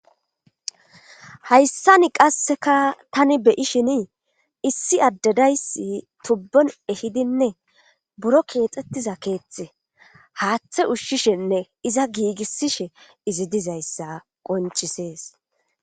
hayssani qasseka tani beyishini issi addadayssi tubbon ehidinne buro keexxettiza keeththe haaththe ushshishenne iza giigisishe izi dizayssa qoncisees